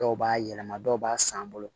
Dɔw b'a yɛlɛma dɔw b'a san an bolo